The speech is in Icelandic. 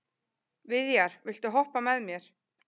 Viðjar, viltu hoppa með mér?